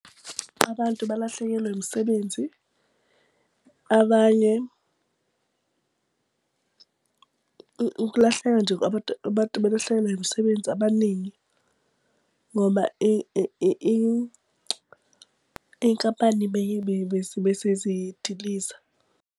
Abantu balahlekelwe imisebenzi. Abanye ukulahleka nje abantu belahlekelwa imisebenzi abaningi ngoba iy'nkampani bese zidiliza.